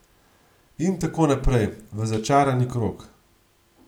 In tako naprej, v začarani krog.